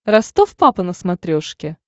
ростов папа на смотрешке